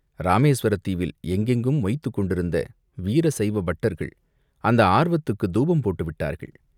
இராமேசுவரத் தீவில் எங்கெங்கும் மொய்த்துக் கொண்டிருந்த வீர சைவ பட்டர்கள் அந்த ஆர்வத்துக்குத் தூபம் போட்டுவிட்டார்கள்.